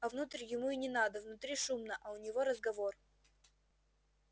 а внутрь ему и не надо внутри шумно а у него разговор